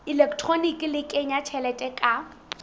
elektroniki le kenya tjhelete ka